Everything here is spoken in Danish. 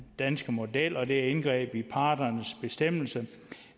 danske model og at det er et indgreb i parternes selvbestemmelse